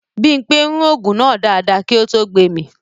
Bímpé rún ògùn náà dáadáa kí ó tó gbemì